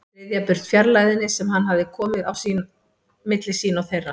Ryðja burt fjarlægðinni sem hann hafði komið á milli sín og þeirra.